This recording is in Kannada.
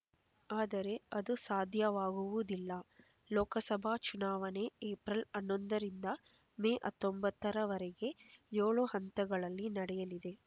ಆದರೆ ಅದು ಸಾಧ್ಯವಾಗುವುದಿಲ್ಲ ಲೋಕಸಭಾ ಚುನಾವಣೆ ಏಪ್ರಿಲ್ ಹನ್ನೊಂದರಿಂದ ಮೇ ಹತ್ತೊಂಬತ್ತರವರೆಗೆ ಏಳು ಹಂತಗಳಲ್ಲಿ ನಡೆಯಲಿದೆ